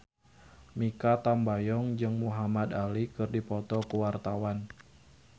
Mikha Tambayong jeung Muhamad Ali keur dipoto ku wartawan